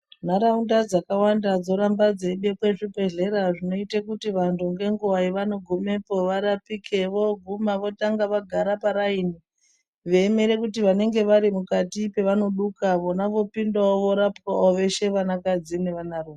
Nharaunda dzakawanda dzoramba dzeibekwa zvibhehlera zvinoite kuti vantu ngenguwa yavanogumepo varapike voguma votanga vaigara paraini veiemera kuti vanenge vari mukati pavanoduka veshe vopindawo vorapwawo veshe vanakadzi nevana rume.